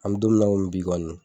An mi don min na komi bi kɔni